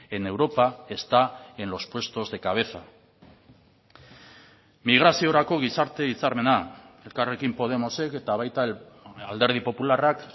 en europa está en los puestos de cabeza migraziorako gizarte hitzarmena elkarrekin podemosek eta baita alderdi popularrak